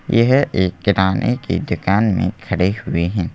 यह एक किराने की दुकान में खड़े हुए हैं।